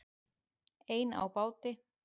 Ein á báti